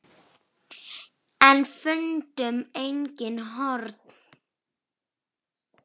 En fundu engin horn.